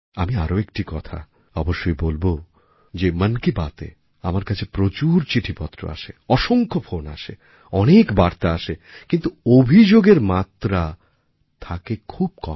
আমি আরও একটি কথা অবশ্যই বলব যে মন কি বাতএ আমার কাছে প্রচুর চিঠিপত্র আসে অসংখ্য ফোন আসে অনেক বার্তা আসে কিন্তু অভিযোগের মাত্রা থাকে খুব কম